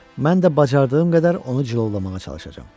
Mən də bacardığım qədər onu cilovlamağa çalışacağam.